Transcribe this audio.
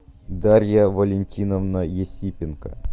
дарья валентиновна есипенко